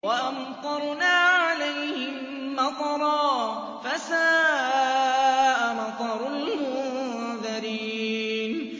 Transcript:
وَأَمْطَرْنَا عَلَيْهِم مَّطَرًا ۖ فَسَاءَ مَطَرُ الْمُنذَرِينَ